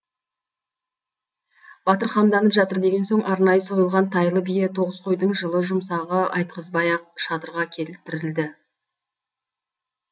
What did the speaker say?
батыр қамданып жатыр деген соң арнайы сойылған тайлы бие тоғыз қойдың жылы жұмсағы айтқызбай ақ шатырға келтірілді